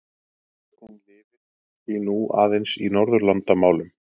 Sögnin lifir því nú aðeins í Norðurlandamálum.